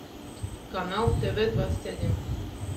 канал тв двадцать один